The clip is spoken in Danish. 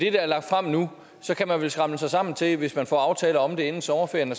er lagt frem nu kan man vel samle sig sammen til hvis man får aftaler om det inden sommerferien at